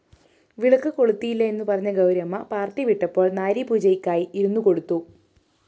വിളക്കുകൊളുത്തില്ല എന്നുപറഞ്ഞ ഗൗരിയമ്മ പാര്‍ട്ടി വിട്ടപ്പോള്‍ നാരീപൂജയ്ക്കായി ഇരുന്നുകൊടുത്തു